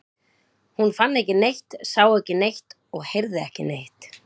Hún fann ekki neitt, sá ekki neitt og heyrði ekki neitt.